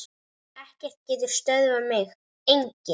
Ekkert getur stöðvað mig, enginn.